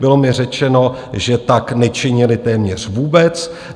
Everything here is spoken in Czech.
Bylo mi řečeno, že tak nečinili téměř vůbec.